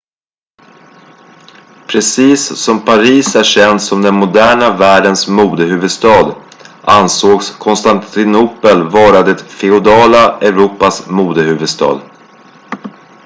precis som paris är känt som den moderna världens modehuvudstad ansågs konstantinopel vara det feodala europas modehuvudstad